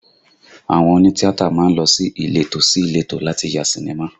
Àwọn òní tíátà má ń lọ ní ìletò sí ìletò láti ya sinimá